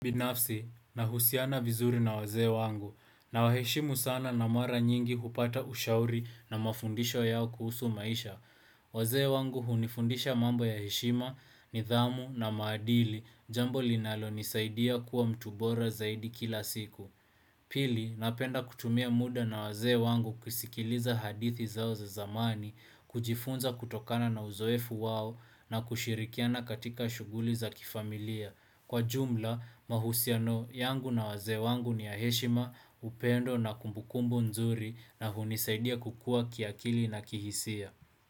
Binafsi, nahusiana vizuri na wazee wangu, nawaheshimu sana na mara nyingi hupata ushauri na mafundisho yao kuhusu maisha. Wazee wangu hunifundisha mambo ya heshima, nidhamu na maadili, jambo linalonisaidia kuwa mtu bora zaidi kila siku. Pili, napenda kutumia muda na wazee wangu kusikiliza hadithi zao za zamani, kujifunza kutokana na uzoefu wao na kushirikiana katika shughuli za kifamilia. Kwa jumla, mahusiano yangu na wazee wangu ni ya heshima upendo na kumbukumbu nzuri na hunisaidia kukua kiakili na kihisia.